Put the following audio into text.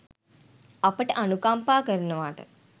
අපට අනුකම්පා කරනවාට.